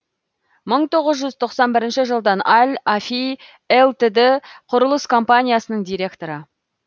мы тоғыз жүз тоқсан жетінші жылдан ал афи лтд кұрылыс компаниясының директоры